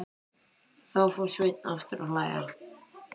Þá fór Sveinn aftur að hlæja.